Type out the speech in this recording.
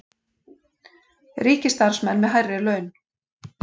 Ríkisstarfsmenn með hærri laun